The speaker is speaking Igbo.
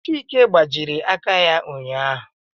Chike gbajie aka ya ụnyaahụ